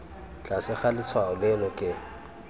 tlase ga letshwao leno ke